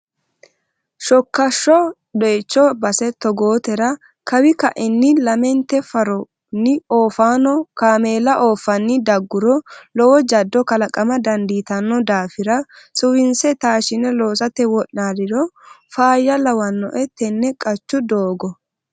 Shokasho doyicho base togootera kawi kaini lamente faroni oofano kaameella ooffanni daguro lowo jado kalaqama dandiittano daafira suwise taashe loossate wo'naliro faayya lawanoe tene qachu doogo.